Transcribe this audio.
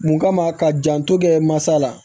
Mun kama ka janto kɛ mansa la